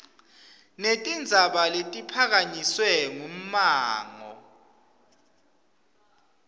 netindzaba letiphakanyiswe ngummango